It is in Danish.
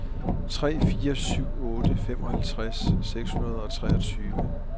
tre fire syv otte femoghalvtreds seks hundrede og treogtyve